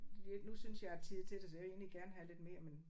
Det nu synes jeg jeg har tid til det så jeg vil egentlig gerne have lidt mere men